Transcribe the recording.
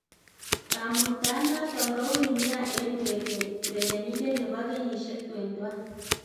Kamuktaonoton koui nia en urerenindet nebo kenyisiek 21